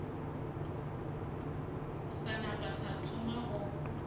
sa napa sa thoma go